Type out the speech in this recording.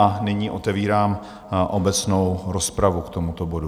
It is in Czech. A nyní otevírám obecnou rozpravu k tomuto bodu.